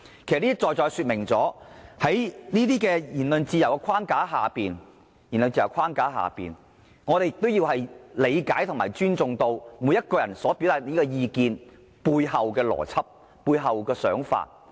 "這些在在說明了在言論自由的框架下，我們應理解和尊重每個人所表達的意見背後的邏輯和想法。